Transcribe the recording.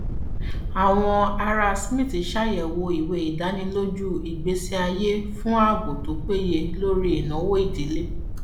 àwọn ará smith ṣàyẹwò ìwé ìdánilójú ìgbésí ayé fún ààbò tó péye lórí ìnáwó ìdílé